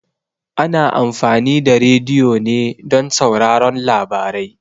Ana amfani da rediyo ne don sauraron labarai.